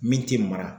Min tɛ mara